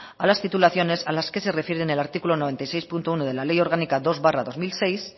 a las titulaciones a las que se refiere en el artículo noventa y seis punto uno de la ley orgánica dos barra dos mil seis